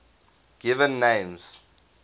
given names